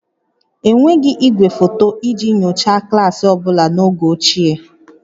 Enweghị igwefoto iji nyochaa klaasị ọ bụla n'oge ochie